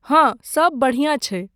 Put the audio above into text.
हाँ, सब बढियाँ छै।